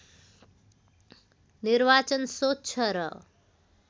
निर्वाचन स्वच्छ र